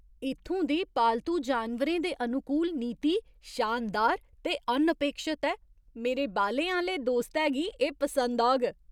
इत्थूं दी पालतू जानवरें दे अनुकूल नीति शानदार ते अनअपेक्षत ऐ मेरे बालें आह्‌ले दोस्तै गी एह् पसंद औग!